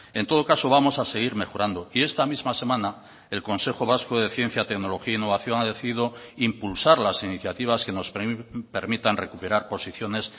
en todo caso vamos a seguir mejorando y esta misma semana el consejo vasco de ciencia tecnología e innovación ha decidido impulsar las iniciativas que nos permitan recuperar posiciones